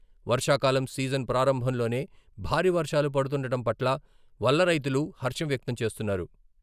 వర్షాకాలం సీజన్ ప్రారంభంలోనే భారీ వర్షాలు పడుతుండటం పట్ల వల్ల రైతులు హర్షం వ్యక్తం చేస్తున్నారు.